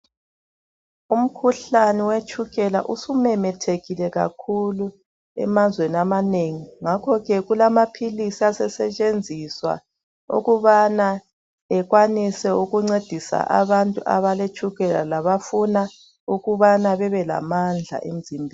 Umkhuhlane wetshukela usumemethekile kakhulu emazweni amanengi, ngakho ke kulamaphilisi asesetshenziswa ukubana ekwanise ukuncedisa abantu abaletshukela labafuna ukubana bebe lamandla emzimbeni.